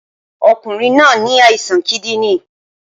Ọkùnrin náà ní àìsàn kídìní